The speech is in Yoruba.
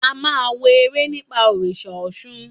A máa wo eré nípa òrìṣà Ọ̀ṣun.